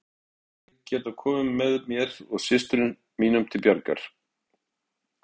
Hvort hann hefði getað komið mér og systrum mínum til bjargar.